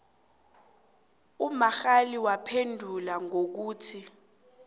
ummangali waphendula ngokuthi